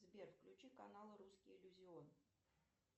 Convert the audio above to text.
сбер включи канал русский иллюзион